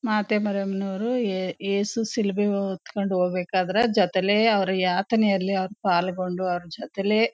ಮಾತೇ ಮರಿಯಂ ನವರು ಯೇಸು ಶಿಲುಬೆ ಅನ್ನು ಹೊತ್ಕೊಂಡ್ ಹೋಗ್ಬೇಕಾದ್ರ ಜೊತೇಲಿ ಅವರು ಯಾತನೆ ಅಲ್ಲಿ ಅವರು ಪಾಲ್ಗೊಂಡು ಅವರು ಜೊತೇಲೆ--